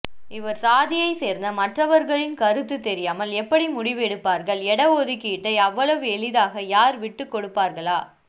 இவர்சாதியைசேர்ந்த மற்றவர்களின் கருத்து தெரியாமல் எப்படி முடிவெடுப்பார்கள் எடஒதுக்கீட்டை அவ்வளவு எளிதாக யார் விட்டு கொடுப்பார்களா